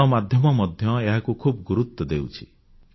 ଗଣମାଧ୍ୟମ ମଧ୍ୟ ଏହାକୁ ଖୁବ୍ ଗୁରୁତ୍ୱ ଦେଉଛି